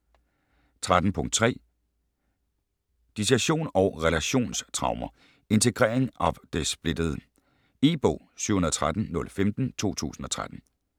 13.3 Dissosiasjon og relasjonstraumer: integrering av det splittede jeg E-bog 713015 2013.